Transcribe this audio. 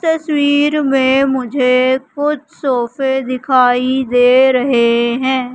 तस्वीर में मुझे कुछ सोफे दिखाई दे रहे हैं।